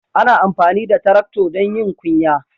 Ana amfani da Taractor don yin ƙunya.